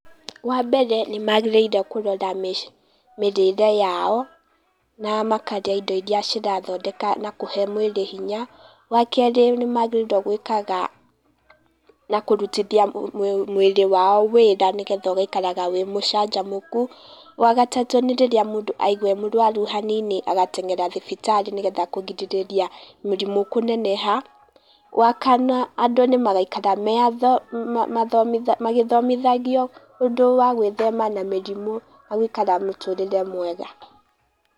Wa mbere, nĩ magĩrĩire kũrora mĩrĩre yao, na makarĩa indo iria cira thondeka na kũhe mwĩriĩ hinya. Wa kerĩ nĩ magĩrĩrwo gwĩkaga, na kũrutithia mwĩrĩ wao wĩra nĩgetha mwĩiĩ ũgaikaraga wĩ mũcajamukũ, wa gatatũ nĩ ririra mũdũ aigua ee mũrwaru hanini agatengera thibitarĩ nĩ getha kũgirĩrĩria mĩrimũ kũneneha. Wa kana adũ nĩ magaikara mee maa magĩthomithagio ũdũ wa gwĩthema na mĩrimũ na gũikara mũtũrĩrie miega.